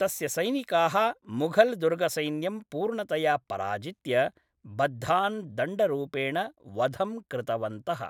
तस्य सैनिकाः मुघलदुर्गसैन्यं पूर्णतया पराजित्य, बद्धान् दण्डरूपेण वधं कृतवन्तः।